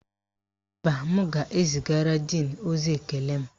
Mba, m ga-ezigara díìnu ozi ekele m